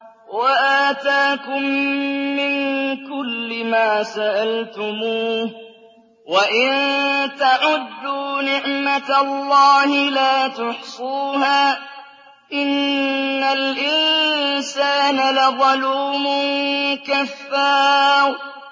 وَآتَاكُم مِّن كُلِّ مَا سَأَلْتُمُوهُ ۚ وَإِن تَعُدُّوا نِعْمَتَ اللَّهِ لَا تُحْصُوهَا ۗ إِنَّ الْإِنسَانَ لَظَلُومٌ كَفَّارٌ